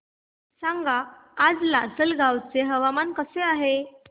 सांगा आज लासलगाव चे हवामान कसे आहे